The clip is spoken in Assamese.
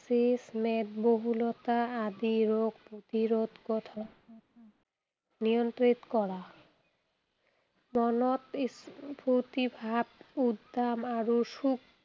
মেদবহুলতা আদি ৰোগ প্ৰতিৰোধ তথা নিয়ন্ত্ৰণ কত হয় নিয়ন্ত্ৰিত কৰা, মনত উহ ফুৰ্তি ভাৱ, উদ্যাম আৰু সুখ